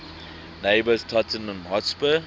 neighbours tottenham hotspur